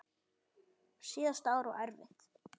Síðasta ár var erfitt.